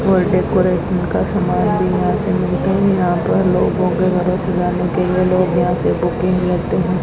और डेकोरेशन का समान भी यहां से मिलते हैं यहां पर लोगों के घरों से जाने के लिए लोग यहां से बुकिंग लेते है।